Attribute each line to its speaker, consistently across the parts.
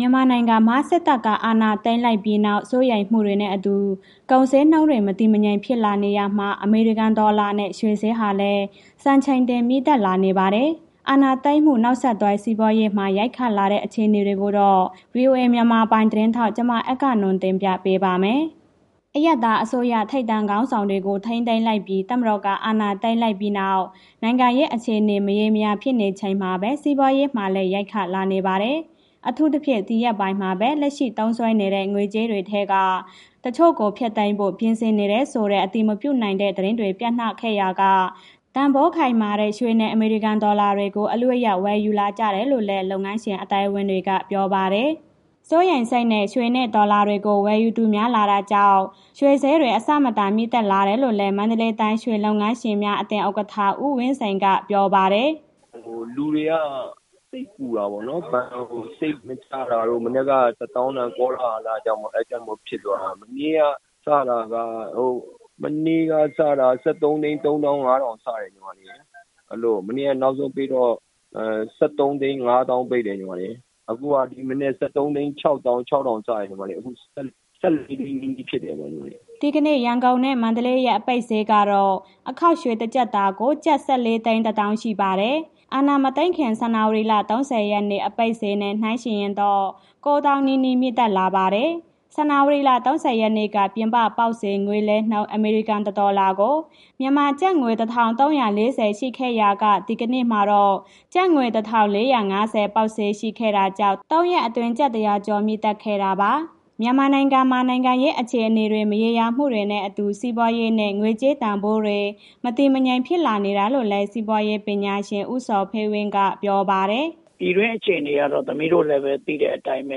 Speaker 1: ြန်မာနိုင်ငံမှာ စစ်တပ်က အာဏာသိမ်းလိုက်ပြီးနောက် စိုးရိမ်မှုတွေနဲ့အတူ ကုန်ဈေးနှုန်းတွ မတည်မငြိမ်ဖြစ်လာနေရာမှာ အမေရိကန်ဒေါ်လာနဲ့ ရွှေဈေးဟာလည်း စံချိန်တင်မြင့်တက်လာနေပါတယ်။ အာဏာသိမ်းမှု နောက်ဆက်တွဲ စီးပွားရေးမှာ ရိုက်ခတ်လာတဲ့ အခြေအနေတွေကို ဗွီအိုအေမြန်မာပိုင်းသတင်းထောက် အဂ္ဂနွန်က တင်ပြပေးပါမယ်။ အရပ်သားအစိုးရ ထိပ်တန်းခေါင်းဆောင်တွေကို ထိန်းသိမ်းလိုက်ပြီး တပ်မတော်က အာဏာသိမ်းလိုက်ပြီးနောက် နိုင်ငံရေးအခြေအနေ မရေမရာ ဖြစ်နေချိန်မှာပဲ စီးပွားရေးမှာလည်း ရိုက်ခတ်လာနေပါတယ်။ အထူးသဖြင့် ဒီရက်ပိုင်းမှာပဲ လက်ရှိသုံးစွဲနေတဲ့ ငွေကြေးတွေထဲက တချို့ကို ဖျက်သိမ်းဖို့ ပြင်ဆင်နေတယ်ဆိုတဲ့ အတည်မပြုနိုင်တဲ့ သတင်းတွေ ပျံ့နှံ့ခဲ့ရာက တန်ဖိုးခိုင်မာတဲ့ ရွှေနဲ့ အမေရိကန်ဒေါ်လာတွေကို အလုအယက် ဝယ်ယူလာကြတာလို့လည်း လုပ်ငန်းရှင် အသိုင်းအဝန်းက ပြောပါတယ်။ စိုးရိမ်စိတ်နဲ့ ရွှေနဲ့ ဒေါ်လာတွေကို ဝယ်ယူသူများလာတာကြောင့် ရွှေဈေးတွေ အဆမတန်တက်လာတာလို့လည်း မန္တလေးတိုင်း ရွှေလုပ်ငန်းရှင်များအသင်း ဥက္ကဋ္ဌ ဦးဝင်းစိန်က ပြောပါတယ်
Speaker 2: ။ “လူတွေက စိတ်ပူတယ်ပေ့ါနော်၊ ဘဏ်ကို ငွေ စိတ်မချတာတို့.... မနက်က ၁၀,၀၀၀ တန်ကောလာဟာလကြောင့်မို့ ဖြစ်သွားတာ မနေ့ကစတာ ၁၃,၃၅၀,၀၀၀ စတာ အဲဒီလို မနေ့က နောက်ဆုံးအပိတ်တော့ ၁၃,၅၀၀,၀၀၀ ပိတ်တယ်။ အခုက ဒီမနက် ၁၃,၆၆၀,၀၀၀ စတယ်။ အခု ၁၄,၀၀၀,၀၀၀ အထိဖြစ်တယ်။
Speaker 1: ” ဒီကနေ့ ရန်ကုန်နဲ့ မန္တလေးရဲ့ အပိတ်ဈေးကတော့ အခေါက်ရွှေ တကျပ်သားကို ကျပ် ၁,၄၁၀,၀၀၀ ရှိပါတယ်။ အာဏာမသိမ်းခင် ဇန်နဝါရီလ ၃၀ ရက်နေ့ အပိတ်ဈေးနဲ့ နှုန်းယှဉ်ရင်တော့ ၉၀,၀၀၀ နီးနီး မြင့်တက်လာပါတယ်။ ဇန်ဝါရီလ ၃၀ ရက်နေ့က ပြင်ပပေါက်ဈေး ငွေလဲနှုန်း အမေရိကန် တဒေါ်လာကို မြန်မာကျပ်ငွေ ၁,၃၄၀ ရှိခဲ့ရာက၊ ဒီကနေ့မှာတော့ ကျပ်ငွေ ၁,၄၅၀ ဈေးပေါက်ခဲ့တာကြောင့် ၃ ရက်အတွက် ကျပ် ၁၀၀ ကျော် ဈေးတက်ခဲ့တာပါ။ မြန်မာနိုင်ငံမှာ နိုင်ငံရေးအခြအနေတွေ မရောရာမှုတွေနဲ့အတူ စီးပွားရေးနဲ့ ငွေကြေးတန်ဖိုးတွေ မတည်မငြိမ်ဖြစ်လာနေတာလို့လည်း စီးပွားရေးပညာရှင် ဦးဇော်ဖေဝင်းက ပြောပါတယ်။
Speaker 2: “ပြည်တွင်းအခြေအနေက သိတဲ့အတိုင်းပဲ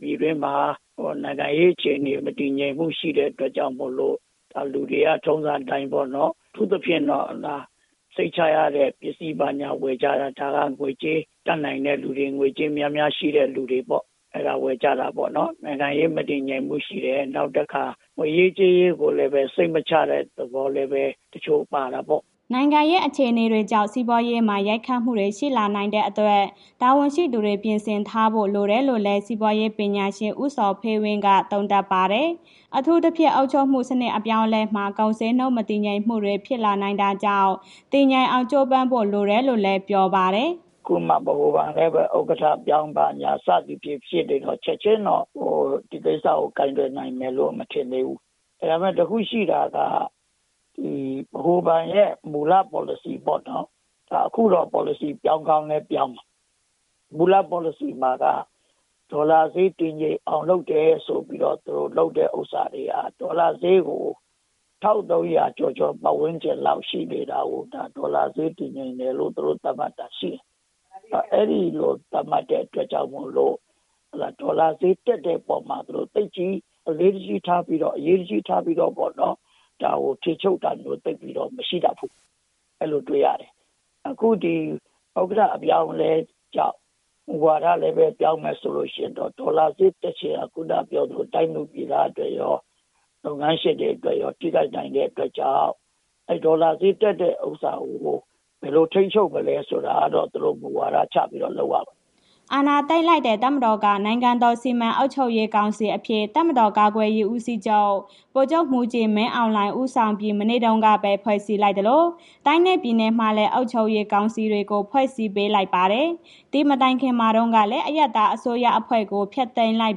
Speaker 2: ၊ ပြည်တွင်းမှာ နိုင်ငံရေးအခြေအနေ မတည်ငြိမ်မှုရှိတဲ့ အတွက်ကြောင့်မို့လို့ လူတွေက ထုံစံအတိုင်းပေါ့နော်၊ အထူးသဖြင့်တော့ စိတ်ချရတဲ့ ပစ္စည်းဘာညာဝယ်ကြတာ... ဒါကငွေကြေးတတ်နိုင်တဲ့ သူတွေ ငွေကြေးများများရှိတဲ့ လူတွေပေါ့၊ အဲ့ဒါဝယ်ကြတာပေါ့။ နိုင်ငံရေး မတည်မှုရှိတယ်။ နောက်တစ်ခါ ငွေရေးကြေးရေးကို စိတ်မချတဲ့ သဘောလည်းပဲ တချို့ပါတာပေါ့။
Speaker 1: ” နိုင်ငံရေး အခြေအနေတွေကြောင့် စီးပွားရေးမှာ ရိုက်ခတ်မှုတွေ ရှိလာနိုင်တဲ့အတွက် တာဝန်ရှိသူတွေ ပြင်ဆင်ထားဖို့ လိုတယ်လို့လည်း စီးပွားရေးပညာရှင် ဦးဇော်ဖေဝင်းက သုံးသပ်ပါတယ်။ အထူးသဖြင့် အုပ်ချုပ်မှုစနစ် အပြောင်းအလဲမှာ ကုန်ဈေးနှုန်း မတည်ငြိမ်မှုတွေ ဖြစ်လာနိုင်တာကြောင့် တည်ငြိမ်အောင် ကြိုးပမ်းဖို့လိုတယ်လို့လည်း ပြောပါတယ်။
Speaker 2: “အခုမှာ ဗဟိုဘဏ်လည်းပဲ ဥက္ကဋ္ဌပြောင်း ဘာညာစသည်ဖြင့် ဖြစ်နေတော့ ချက်ချင်းတော့ ဒီကိစ္စကို ကိုင်တွယ်နိုင်မယ်လို့မထင်သေးဘူး။ ဒါပေမဲ့ တစ်ခုရှိတာက ဒီဗဟိုဘဏ်ရဲ့ မူလပေါ်လစီပေါ့နော်။ အခုတော့ ပေါ်လစီပြောင်းကောင်းပြောင်းတယ်။ မူလပေါ်လစီမှာက ဒေါ်လာဈေး တည်ငြိမ်အောင်လုပ်တယ်ဆိုပြီးတော့ သူတို့လုပ်တဲ့ ဥစ္စာတွေက ဒေါ်လာဈေးကို ၁,၃၀၀ ကျော်ကျော် ပတ်ဝန်းကျင်လောက်ရှိနေတာကို ဒေါ်လာဈေး တည်ငြိမ်တယ်လို့ သူတို့သတ်မှတ်တာရှိတယ်။ အဲ့ဒီလိုသတ်မှတ်တဲ့အတွက်ကြောင့်မို့လို့ ဒေါ်လာဈေးတက်တဲ့ အပေါ်မှာ သူတို့ သိပ်ပြီးအလေးတကြီးထားပြီးတော့ အရေးတကြီးထားပြီးတော့ပေါ့နော်။ ဒါကိုထိန်းသိမ်းတာမျိုး မရှိတတ်ဘူး။ အဲ့ဒီလိုတွေ့ရတယ်။ အခုဒီဥက္ကဋ္ဌအပြောင်းအလဲကြောင့် မူဝါဒလည်းပဲ ပြောင်းမယ်ဆိုလို့ရှိရင်တော့ ဒေါ်လာဈေးချင်ဟာ ခုဏပြောသလို တိုင်းသူပြည်သားအတွက်ရော၊ လုပ်ငန်းရှင်တွေအတွက်ရော ထိခိုက်နိုင်တဲ့အတွက်ကြောင့် အဲ့ဒီဒေါ်လာဈေးတက်တဲ့ ဥစ္စာကို ဘယ်လိုထိန်းချုပ်မလဲဆိုတာကတော့ သူတို့မူဝါဒချပြီးတော့ လုပ်ရမယ်။”
Speaker 1: အာဏာသိမ်းလိုက်တဲ့ တပ်မတော်ကတော့ နိုင်ငံတော်စီမံအုပ်ချုပ်ရေးကောင်စီအဖြစ် တပ်မတော်ကာကွယ်ရေး ဦးစီးချုပ် ဗိုလ်ချုပ်မှူးကြီး မင်းအောင်လှိုင် ဦးဆောင်ပြီး မနေ့တုန်းကပဲ ဖွဲ့စည်းလိုက်သလို၊ တိုင်းနဲ့ပြည်နယ်မှာလည်း အုပ်ချုပ်ရေးကောင်စီတွေကို ဖွဲ့စည်းပေးလိုက်ပါတယ်။ ဒီမတိုင်ခင်မှာတုန်းကလည်း အရပ်သားအစိုးရအဖွဲ့ကို ဖျက်သိမ်းလိုက်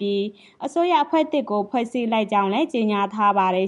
Speaker 1: ပြီး အစိုးရအဖွဲ့သစ်ကို ဖွဲ့စည်းလိုက်ကြောင်းလည်း ကြေညာထားပါတယ်